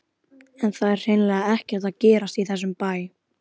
En það er hreinlega ekkert að gerast í þessum bæ.